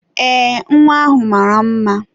Ee, nwa ahụ mara mma.